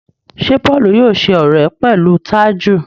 Ṣe Paul yóò ṣe ọrẹ pẹlú Taju?